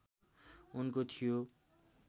उनको थियो